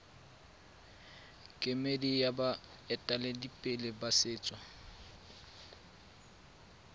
kemedi ya baeteledipele ba setso